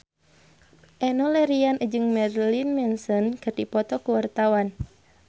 Enno Lerian jeung Marilyn Manson keur dipoto ku wartawan